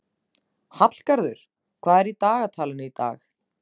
Hallgarður, hvað er í dagatalinu í dag?